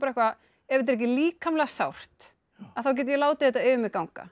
ef þetta er ekki líkamlega sárt að þá get ég látið þetta yfir mig ganga